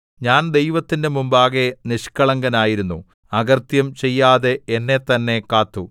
ഞാൻ ദൈവത്തിന്റെ മുമ്പാകെ നിഷ്കളങ്കനായിരുന്നു അകൃത്യം ചെയ്യാതെ എന്നെത്തന്നെ കാത്തു